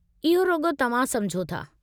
इहो रुॻो तव्हां समुझो था।